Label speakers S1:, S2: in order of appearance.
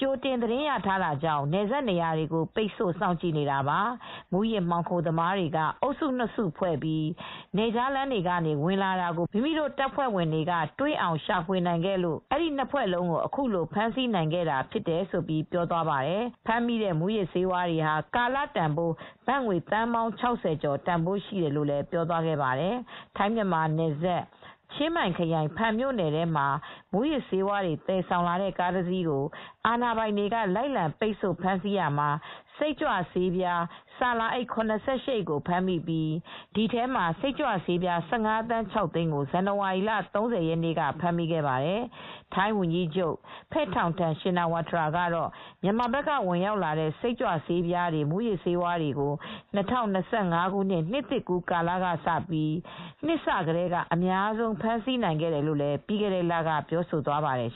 S1: ကြိုတင်သတင်းရထားတာကြောင့် နယ်စပ်နေရာတွေကို ပိတ်ဆို့ စောင့်ကြည့်နေ တာပါ၊ မူးယစ်မှောင်ခိုသမားတွေက အုပ်စုနှစ်စုဖွဲပြီး နယ်ခြားလမ်းတွေက ဝင်လာခဲ့တာကို မိမိတို့ တပ်ဖွဲ့ဝင်တွေက တွေ့အောင် ရှာဖွေနိုင်ခဲ့လို့ နှစ်ဖွဲ့လုံးကို အခုလို ဖမ်းဆီးနိုင်ခဲ့တာ" လို့ ပြောသွားပါတယ်။ ဖမ်းမိတဲ့မူးယစ်ဆေးတွေဟာ ကာလတန်ဘိုး ဘတ်ငွေ သန်းပေါင်း ၆၀ ကျော်ရှိတယ်လို့ လည်း ပြောသွားခဲ့ပါတယ်။ ထိုင်း-မြန်မာနယ်စပ်၊ ချင်းမိုင်ခရိုင်၊ ဖန်မြို့နယ်ထဲမှာ မူးယစ်ဆေးဝါးတွေ သယ်ဆောင်လာတဲ့ ကားတစီးကို အာဏာပိုင်တွေက လိုက်လံ ပိတ်ဆို့ ဖမ်းဆီးရာမှာ စိတ်ကြွဆေးပြား ဆာလာအိပ် ၇၈ အိတ်ကိုဖမ်းမိပြီး ဒီထဲမှ ာစစ်ကြွဆေးပြား ၁၅ သန်း ၆ သိန်းကို ဇန်နဝါရီလ ၃၀ ရက်နေ့ကလည်း ဖမ်းမိခဲ့ပါသေးတယ်။ ထိုင်းဝန်ကြီးချုပ် Paetongtarn Shinawatra ကတော့ မြန်မာဘက်က ဝင်ရောက်လာတဲ့ စိတ်ကြွ ဆေးပြားတွေ၊ မူးယစ်ဆေးဝါးတွေကို ၂၀၂၅ နစ်သစ်ကူးကာလကစပြီး နှစ်စကတည်းက အများဆုံး ဖမ်းဆီးနိုင်ခဲ့တယ်လို့လည်း ပြီးခဲ့တဲ့လက ပြောဆိုသွားပါတယ်